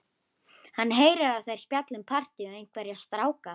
Hann heyrir að þær spjalla um partí og einhverja stráka.